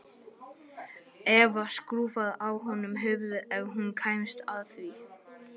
Eva skrúfaði af honum höfuðið ef hún kæmist að því.